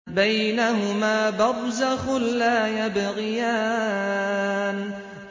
بَيْنَهُمَا بَرْزَخٌ لَّا يَبْغِيَانِ